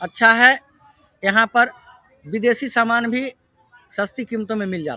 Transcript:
अच्छा है यहाँ पर बिदेशी सामान भी सस्ती कीमतों में मिल जाता --